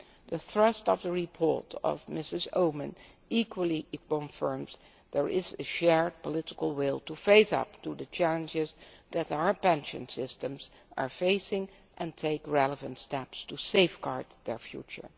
The thrust of Mrs Oomen Ruijten's report equally confirms that there is a shared political will to face up to the challenges that our pension systems are facing and take relevant steps to safeguard their future.